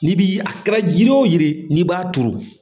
N'i b'i a kɛra jiri wo jiri ye n'i b'a ton.